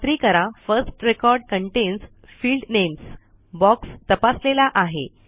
खात्री करा first record contains field names box तपासलेला आहे